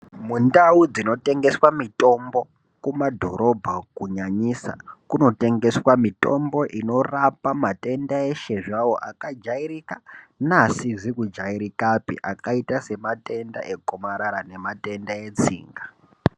Mundau dzinotengeswa mutombo kumadhorobha umwo kunyanyisa .Kunotengeswa mitombo inorapa matenda akajairika neasizi kujairikapi akaita sematenda egomarara nematenda etsinga.